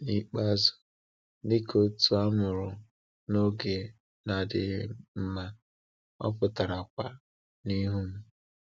N’ikpeazụ, dịka otu a mụrụ n’oge na-adịghị mma, ọ pụtara kwa n’ihu m.